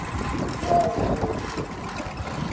hang ha ho se ho